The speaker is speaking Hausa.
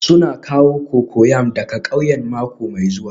Suna kawo cocoyam daga ƙauyen mako mai zuwa